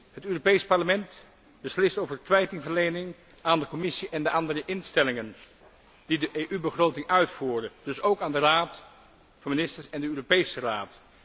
Het Europees Parlement beslist over kwijtingverlening aan de Commissie en de andere instellingen die de EU begroting uitvoeren, dus ook aan de Raad van Ministers en de Europese Raad.